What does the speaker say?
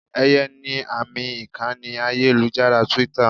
Eye ni àmì ìkànnì ayélujára Twitter.